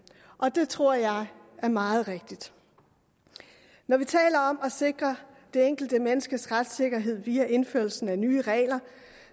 og det tror jeg er meget rigtigt når vi taler om at sikre det enkelte menneskes retssikkerhed via indførelsen af nye regler